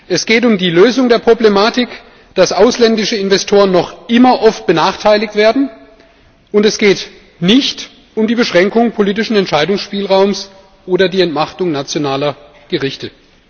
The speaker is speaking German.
Es geht um die Lösung der Problematik, dass ausländische Investoren noch immer oft benachteiligt werden, und es geht nicht um die Beschränkung politischen Entscheidungsspielraums oder die Entmachtung nationaler Gerichte.